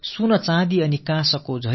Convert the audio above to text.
தங்கம் வெள்ளி வெண்கலம் என்று